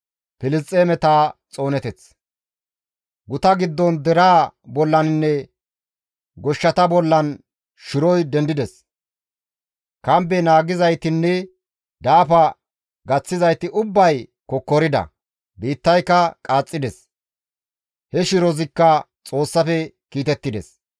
Guta giddon deraa bollaninne goshshata bollan shiroy dendides; kambe naagizaytinne daafa gaththizayti ubbay kokkorida; biittayka qaaxxides. He shirozikka Xoossafe kiitettides.